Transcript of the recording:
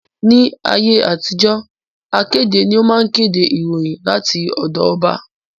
Ní ayé àtijó, akéde ni ó máa ń kéde ìròyìn láti ọ̀dọ ọba